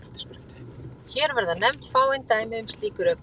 Hér verða nefnd fáein dæmi um slík rök.